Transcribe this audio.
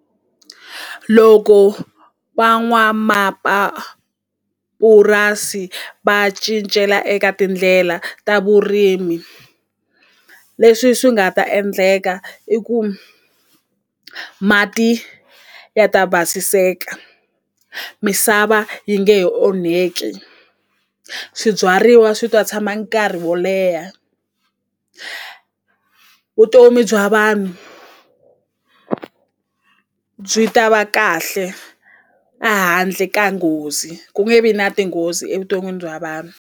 Loko va cincela eka tindlela ta vurimi leswi swi nga ta endleka i ku mati ya ta basiseka misava yi nge he onheki swibyariwa swi ta tshama nkarhi wo leha vutomi bya vanhu byi ta va kahle a handle ka nghozi ku nge vi na tinghozi evuton'wini bya vanhu.